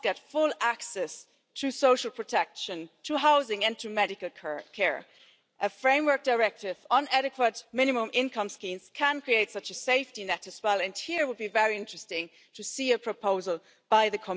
Für mich war gestern, als der griechische Ministerpräsident hier gewesen ist, ein Satz von ihm sehr offenbarend, als er sagte Wir sind heraus aus dem Memorandum, und anschließend hinzufügte und er hat das mehrfach gesagt Wir haben überlebt.